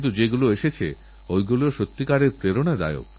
আমি সমস্ত রাজ্যের কথা উল্লেখ করতে পারছি না কিন্তুসবাই প্রশংসার যোগ্য